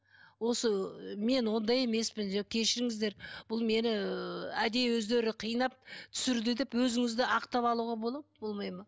осы мен ондай емеспін деп кешіріңіздер бұл мені әдейі өздері қинап түсірді деп өзіңізді ақтап алуға болады ма болмайды ма